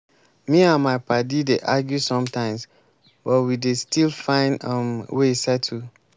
me and my paddy dey argue sometimes but we dey still find um way settle.